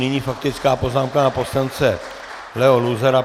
Nyní faktická poznámka pana poslance Leo Luzara.